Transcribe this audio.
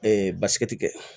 basigi ti kɛ